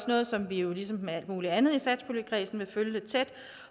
noget som vi jo ligesom med alt muligt andet i satspuljekredsen også vil følge tæt